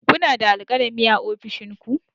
Kuna da alkalami a ofishin ku?